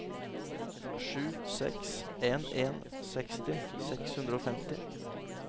sju seks en en seksti seks hundre og femti